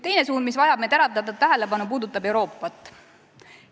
Teine suund, mis vajab meie teravdatud tähelepanu, puudutab Euroopat.